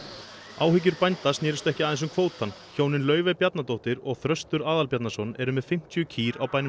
áhyggjur bænda snerust ekki aðeins um kvótann hjónin Laufey Bjarnadóttir og Þröstur Aðalbjarnarson eru með fimmtíu kýr á bænum